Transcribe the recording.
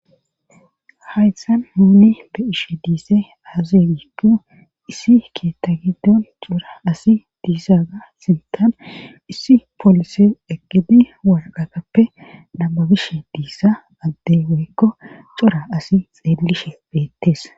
haysan nuni be'ishe diise aaze gipu issi keetta giddon cora asi diissaga sintan issi polises eqidi walqatappe namabishe diissa addey woykko cora asi xeellishe beettees